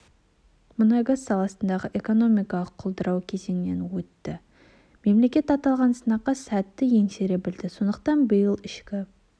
мұнай-газ саласындағы экономикалық құлдырау кезеңінен өтті мемлекет аталған сынақты сәтті еңсере білді сондықтан биыл ішкі